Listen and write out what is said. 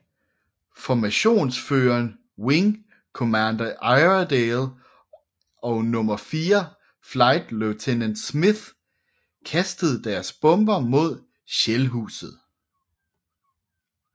Formationsføreren wing commander Iredale og nummer fire flight lieutenant Smith kastede deres bomber mod Shellhuset